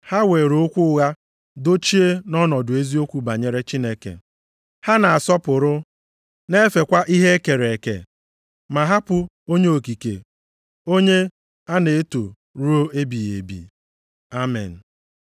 Ha were okwu ụgha dochie nʼọnọdụ eziokwu banyere Chineke. Ha na-asọpụrụ, na-efekwa ihe e kere eke, ma hapụ Onye okike, onye a na-eto ruo ebighị ebi. Amen.